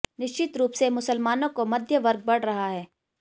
निश्चित रूप से मुसलमानों का मध्यवर्ग बढ़ रहा है